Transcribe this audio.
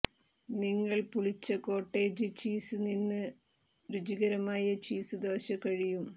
നിങ്ങൾ പുളിച്ച cottage cheese നിന്ന് രുചികരമായ ചീസ് ദോശ കഴിയും